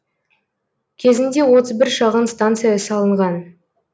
кезінде отыз бір шағын станция салынған